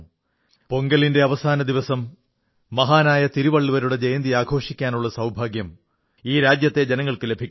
പൊങ്കലിന്റെ അവസാന ദിവസം മഹാനായ തിരുവള്ളുവരുടെ ജയന്തി ആഘോഷിക്കാനുള്ള സൌഭാഗ്യം ഈ രാജ്യത്തെ ജനങ്ങൾക്കു ലഭിക്കുന്നു